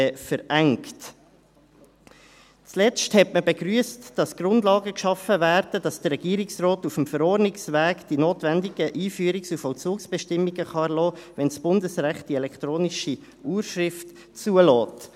Zuletzt wurde begrüsst, dass Grundlagen geschaffen wurden, damit der Regierungsrat die notwendigen Einführungs- und Vollzugsbestimmungen auf dem Verordnungsweg erlassen kann, wenn das Bundesrecht die elektronische Urschrift zulässt.